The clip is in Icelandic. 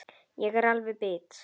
Ég er alveg bit!